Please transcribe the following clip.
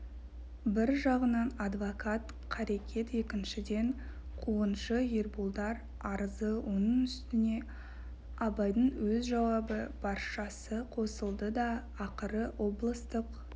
бір жағынан адвокат қарекет екіншіден қуғыншы ерболдар арызы оның үстіне абайдың өз жауабы баршасы қосылды да ақыры облыстық